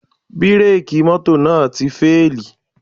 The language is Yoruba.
Bírèkì mọ́tò náà ti fíèlì